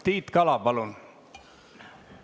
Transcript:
Tiit Kala, palun!